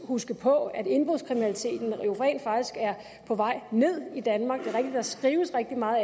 huske på at indbrudskriminaliteten jo rent faktisk er på vej ned i danmark at der skrives rigtig meget